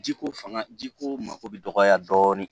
Jiko fanga ji ko mako bɛ dɔgɔya dɔɔnin